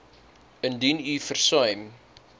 indien u versuim